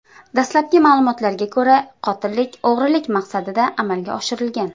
Dastlabki ma’lumotlarga ko‘ra, qotillik o‘g‘rilik maqsadida amalga oshirilgan.